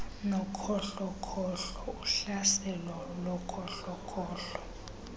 nokhohlokhohlo uhlaselo lokhohlokhohlo